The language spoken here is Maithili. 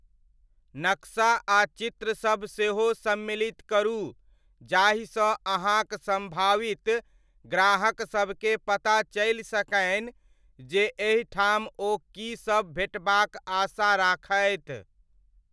नक्शा आ चित्रसब सेहो सम्मिलित करू जाहिसँ अहाँक सम्भावित ग्राहक सबकेँ पता चलि सकनि जे एहि ठाम ओ की सब भेटबाक आशा राखथि।